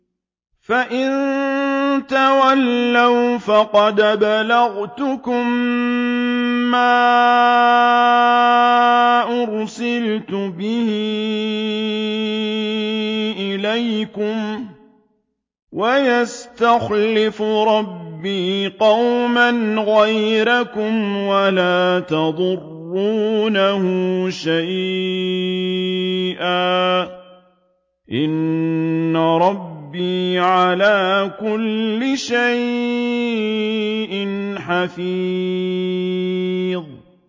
فَإِن تَوَلَّوْا فَقَدْ أَبْلَغْتُكُم مَّا أُرْسِلْتُ بِهِ إِلَيْكُمْ ۚ وَيَسْتَخْلِفُ رَبِّي قَوْمًا غَيْرَكُمْ وَلَا تَضُرُّونَهُ شَيْئًا ۚ إِنَّ رَبِّي عَلَىٰ كُلِّ شَيْءٍ حَفِيظٌ